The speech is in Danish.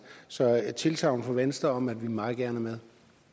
så jeg et tilsagn fra venstre om at vi meget gerne